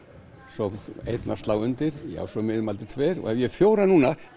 svo fór einn að slá undir svo tveir og ég hef fjóra núna